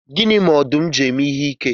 Gịnị mere ọdụm ji na-eme ihe ike?